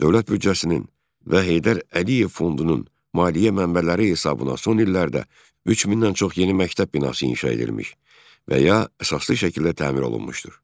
Dövlət büdcəsinin və Heydər Əliyev fondunun maliyyə mənbələri hesabına son illərdə 3000-dən çox yeni məktəb binası inşa edilmiş və ya əsaslı şəkildə təmir olunmuşdur.